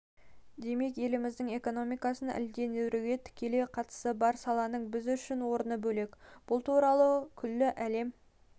демек еліміздің экономикасын әлдендіруге тікелей қатысы бар саланың біз үшін орны бөлек бұл туралы күллі әлем